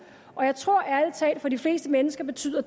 jeg tror ærlig talt at det for de fleste mennesker betyder